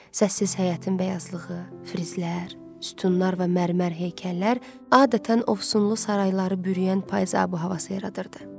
Səssiz həyətin bəyazlığı, frizlər, sütunlar və mərmər heykəllər adətən ovsunlu sarayları bürüyən payız ab-havası yaradırdı.